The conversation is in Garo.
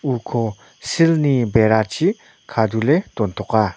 uko silni berachi kadule dontoka.